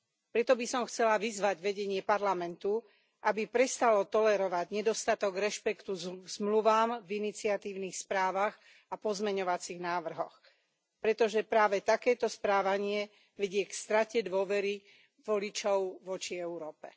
Preto by som chcela vyzvať vedenie Parlamentu, aby prestalo tolerovať nedostatok rešpektu k zmluvám v iniciatívnych správach a pozmeňovacích návrhoch, pretože práve takéto správanie vedie k strate dôvery voličov voči Európe.